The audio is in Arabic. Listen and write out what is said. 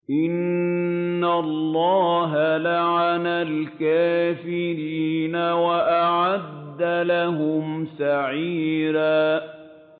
إِنَّ اللَّهَ لَعَنَ الْكَافِرِينَ وَأَعَدَّ لَهُمْ سَعِيرًا